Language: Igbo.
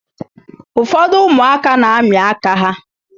Ụfọdụ ụmụaka na-amị aka ha.